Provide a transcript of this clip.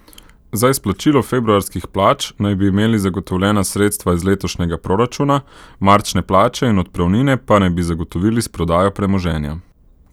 Za izplačilo februarskih plač naj bi imeli zagotovljena sredstva iz letošnjega proračuna, marčne plače in odpravnine pa naj bi zagotovili s prodajo premoženja.